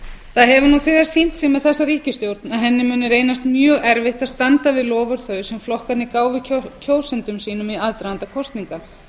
nú þegar sýnt sig með þessa ríkisstjórn að henni mun nú reynast mjög erfitt að standa við loforð þau sem flokkarnir gáfu kjósendum eigum í aðdraganda kosninga